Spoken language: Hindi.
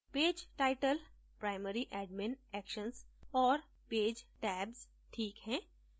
page title primary admin actions और page tabs ठीक हैं